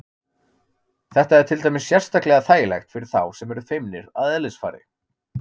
Þetta er til dæmis sérstaklega þægilegt fyrir þá sem eru feimnir að eðlisfari.